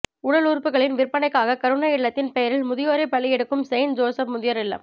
உடலுறுப்புக்களின் விற்பனைக்காக கருணை இல்லத்தின் பெயரில் முதியோரை பலி எடுக்கும் செயின்ட் ஜோசப் முதியோர் இல்லம்